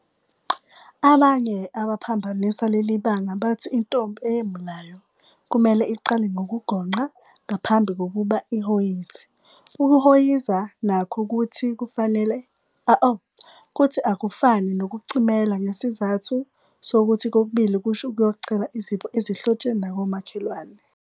Abanye abaphambanisa leli banga bathi intombi eyemulayo kumele iqale ngokugonqa ngaphambi kokuba ihhoyize. Ukuhhoyiza nakho kuthi akufane nokucimela ngesizathu sokuthi kokubili kusho ukuyocela izipho ezihlotsheni nakomakhelwane.